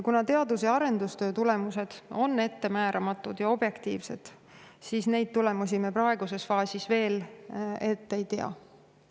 Kuna teadus- ja arendustöö tulemused on ettemääramatud ja objektiivsed, siis tulemusi me praeguses faasis veel ette ei tea.